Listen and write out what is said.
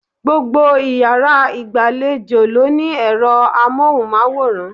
Gbogbo iyàrá ìgbàlejò ló ní èro amóhùnmáwòrán